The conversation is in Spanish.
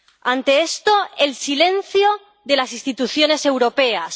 Ante esto, el silencio de las instituciones europeas.